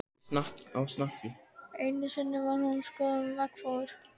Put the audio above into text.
Einu sinni var skoðun sem var veggfóður.